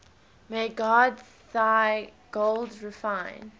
may god thy gold refine